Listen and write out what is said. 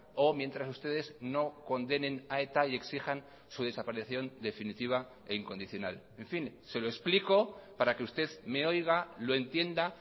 o mientras ustedes no condenen a eta y exijan su desaparición definitiva e incondicional en fin se lo explico para que usted me oiga lo entienda